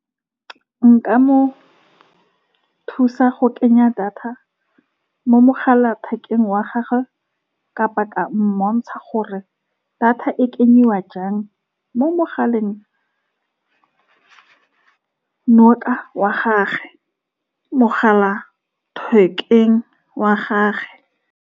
Nka mo thusa go kenya data mo mogala thekeng wa gagwe, kapa ka mmontsha gore data o e kenya jang mo mogaleng noka wa gagwe, mogala thekeng wa gagwe.